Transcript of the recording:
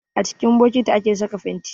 A cikin bokiti ake saka fenti